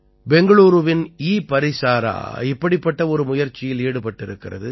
பெங்களூரூவின் ஈபரிசாரா இப்படிப்பட்ட ஒரு முயற்சியில் ஈடுபட்டிருக்கிறது